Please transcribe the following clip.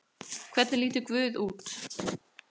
Hvernig lítur guð út?